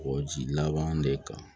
O ji laban de kan